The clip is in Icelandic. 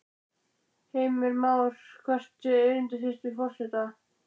Heimir Már: Hvert er erindi þitt við forseta?